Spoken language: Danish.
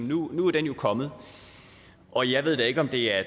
nu er den kommet og jeg ved da ikke om det er